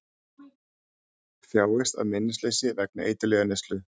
Þjáist af minnisleysi vegna eiturlyfjaneyslu